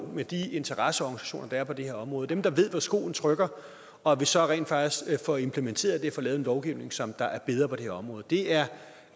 med de interesseorganisationer der er på det her område dem der ved hvor skoen trykker og at vi så rent faktisk får implementeret det og får lavet en lovgivning som er er bedre på det her område det er